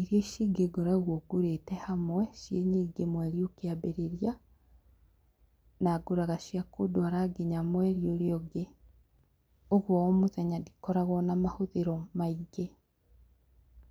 Irio ici ingĩ ngoragwo ngũrĩte hamwe, ciĩ nyingĩ mweri ũkĩambĩrĩria na ngũraga cia kũndwara nginya mweri ũrĩa ũngĩ. Ũguo o mũthenya ndikoragwo na mahũthĩro maingĩ.